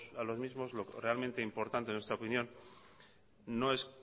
a los mismo lo realmente importante en nuestra opinión no es